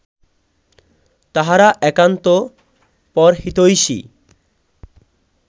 তাঁহারা একান্ত পরহিতৈষী